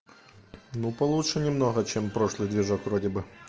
ну получше немного чем прошлый движок вроде бы